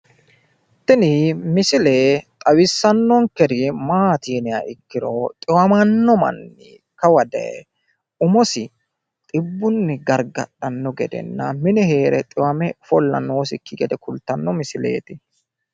Tini misile xawissannonkeri maati yiniha ikkiro, xiwamanno manni kawa dayee umosi xibbunni gargadhanno gedenna mine heere xiwame ofolla noosikki gede kultanno misileeti.